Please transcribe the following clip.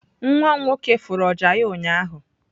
nwam nwoke furu ọjà ya ụnyahụ.